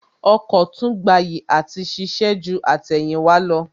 Ọkọ̀ tún gbayì àti ṣiṣẹ́ ju àtẹ̀yìnwá lọ